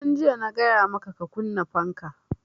Tun jiya na gaya maka ka kunna fanka!